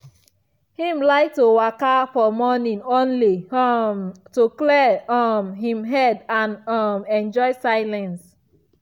him like to walka for morning only um am to clear um him head and um enjoy silence.